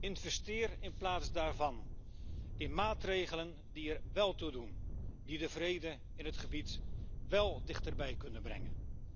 Investeer in plaats daarvan in maatregelen die er wel toe doen, die de vrede in het gebied wel dichterbij kunnen brengen.